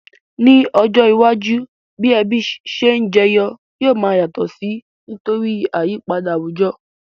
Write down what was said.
Ní ojó iwájú, bi ebí se n jeyo yio ma yàtò si nítorí àyípadà àwùjo